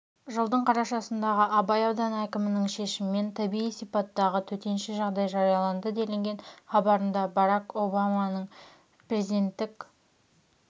жылдың қарашасындағы абай ауданы әкімінің шешімімен табиғи сипаттағы төтенше жағдай жарияланды делінген хабарында барак обаманың президенттік